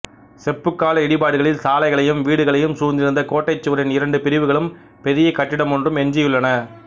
செப்புக்கால இடிபாடுகளில் சாலைகளையும் வீடுகளையும் சூழ்ந்திருந்த கோட்டைச்சுவரின் இரண்டு பிரிவுகளும் பெரியக் கட்டிடமொன்றும் எஞ்சியுள்ளன